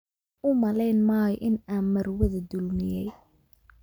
U malayn maayo in aan marwada dulmiyay